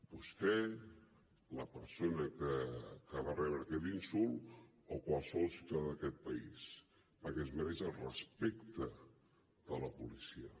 vostè la persona que va rebre aquest insult o qualsevol ciutadà d’aquest país perquè es mereix el respecte de la policia